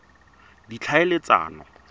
ditlhaeletsano